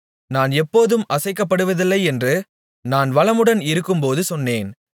நான் எப்போதும் அசைக்கப்படுவதில்லையென்று நான் வளமுடன் இருக்கும்போது சொன்னேன்